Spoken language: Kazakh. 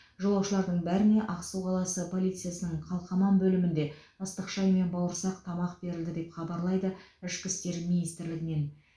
жолаушылардың бәріне ақсу қаласы полициясының қалқаман бөлімінде ыстық шай мен бауырсақ тамақ берілді деп хабарлайды ішкі істер министрлігінен